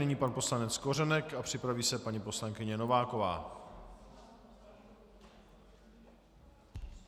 Nyní pan poslanec Kořenek a připraví se paní poslankyně Nováková.